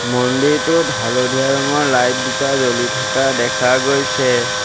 মন্দিৰটোত হালধীয়া ৰঙৰ লাইট দুটা জ্বলি থকা দেখা গৈছে।